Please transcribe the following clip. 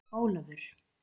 Ólafur